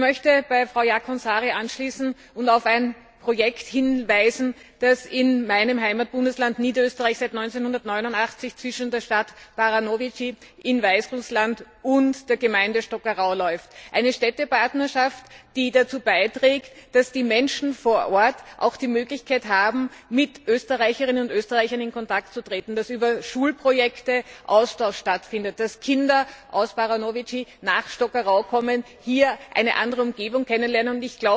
Ich möchte bei Frau Jaakonsaari anschließen und auf ein Projekt hinweisen, das in meinem Heimatbundesland Niederösterreich seit dem Jahr 1989 zwischen der Stadt Baranowitschi in Weißrussland und der Gemeinde Stockerau läuft eine Städtepartnerschaft, die dazu beiträgt, dass die Menschen vor Ort auch die Möglichkeit haben, mit Österreicherinnen und Österreichern in Kontakt zu treten, dass über Schulprojekte ein Austausch stattfindet, dass Kinder aus Baranowitschi nach Stockerau kommen und hier eine andere Umgebung kennenlernen.